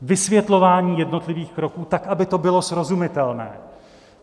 Vysvětlování jednotlivých kroků tak, aby to bylo srozumitelné.